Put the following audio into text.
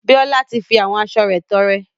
Bíọ́lá ti fi àwọn aṣo rẹ̀ tọrẹ.